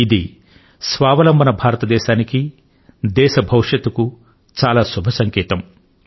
ఇది స్వావలంబనయుత భారతదేశానికి దేశ భవిష్యత్తుకు ఎంతో శుభ సంకేతం